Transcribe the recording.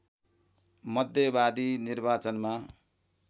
मध्यवाधि निर्वाचनमा